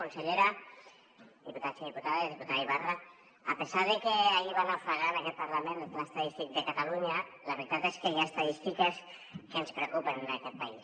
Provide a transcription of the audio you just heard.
consellera diputats i diputades diputada ibarra a pesar de que ahir va naufragar en aquest parlament el pla estadístic de catalunya la veritat és que hi ha estadístiques que ens preocupen en aquest país